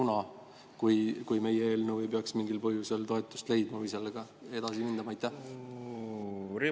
Tead sa, kas valitsus on seda arutanud, ja kui meie eelnõu ei peaks mingil põhjusel toetust leidma, siis kuidas võiks sellega edasi minna?